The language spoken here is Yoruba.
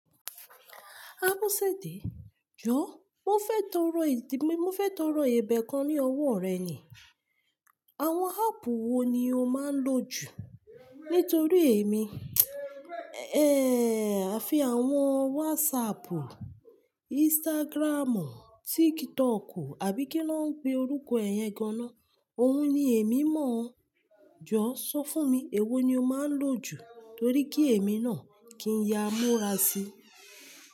Abọsẹdẹ, jọ̀ọ́ mo fẹ́ tọrọ ìdí Mo fẹ́ tọrọ ẹbẹ kan ní ọwọ́ rẹ ni. Àwọn áàpù wo ni o máa ń lò jù? Nítorí èmi, àfi àwọn WhatsAppù, Instagramù, TikTokù àbí kí ńa n pe orúkọ ẹ yẹn gan-an na, òun ni èmi mọ̀ ọ́n. Jọ̀ọ́ sọ fún mi, èwo ni o máa ń lò jù torí kí èmi náà kí n ya múra síi.